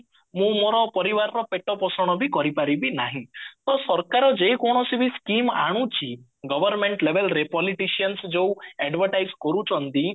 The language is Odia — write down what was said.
ମୁଁ ମୋର ପରିବାର ପେଟ ପୋଷଣ ବି କରିପାରିବି ନାହିଁ ତ ସରକାର ଯେ କୌଣସି ବି scheme ଆଣୁଛି government label ରେ politician ଯୋଉ advertise କରୁଚନ୍ତି